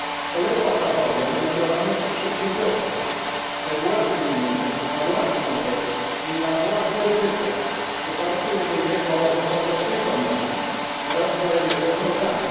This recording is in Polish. Polega ona bowiem na działalności przedsiębiorców we własnym imieniu, na własną rzecz i na własne ryzyko w oparciu jedynie o zasady ekonomii oraz wzajemnego zaufania.